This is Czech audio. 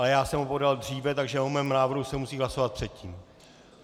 Ale já jsem ho podal dříve, takže o mém návrhu se musí hlasovat předtím.